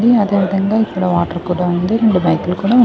in అదేవిధంగా ఇక్కడ water కూడా ఉంది రెండు బైకులు కూడా--